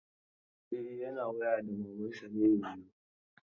E, yana waya da maman sa ne yanzun.